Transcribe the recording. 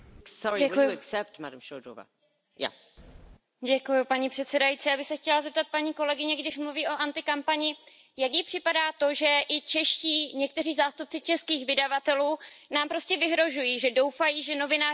Já bych se chtěla zeptat paní kolegyně, když mluví o antikampani, jak jí připadá to, že i někteří zástupci českých vydavatelů nám prostě vyhrožují, že doufají, že novináři udělají vše pro to, aby těm, kteří budou hlasovat proti názoru českých vydavatelů,